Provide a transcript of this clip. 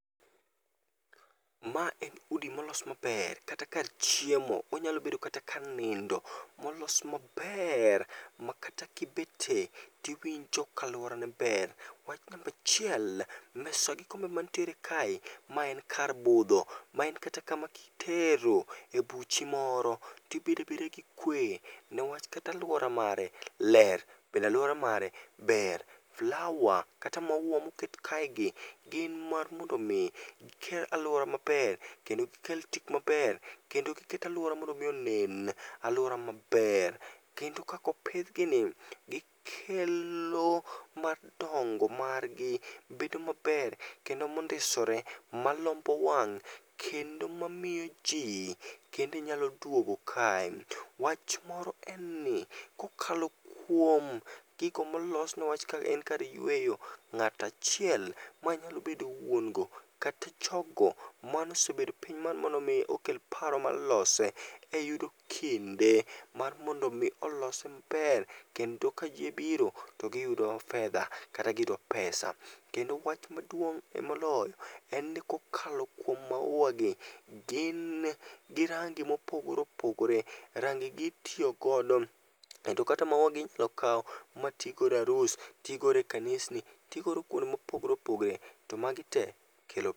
Ma en udi molos maber, kata kar chiemo, onyalo bedo kata kar nindo molos maber. Makata kibete tiwinjo ka aluorane ber. Wach namba achiel, mesa gi kombe mantiere kae, mae en kar budho ,ma en kata kama kitere buchi moro tibedo abeda gi kwe, niwach kata aluora mare ler. Bende aluora mare ber, flower kata maua moket kaegi gin mar mondo omi giket aluora maber, kendo giket tipo maber kendo giket aluora mondo omi onen aluora maber. Kendo kaka opidhgini gikelo ma dongo margi bedo maber kendo mondisore, malombo wang' kendo mamiyo ji kendo nyalo duogo kae. Wach moro en ni kokalo kuom gigo molos niwach en kar yueyo, ng'ato achiel manyalo bedo wuon go kata jogo manosebedo piny mar mondo mi okel paro mar lose eyudo kinde mar mondo mi olose maber, kendo ka ji biro to giyudo fedha kata giyudo pesa. Kendo wach maduong'ie moloyo, en ni kokalo kuom mauwa gi, gin gi range mopogore opogore, rangegi itiyo godo kendo kata mauwa gi inyalo kaw mati godo e arus, ti godo e kanis ni, ti godo kuonde mopogore opogore to magi tee kelo....